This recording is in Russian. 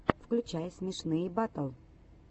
включай смешные батл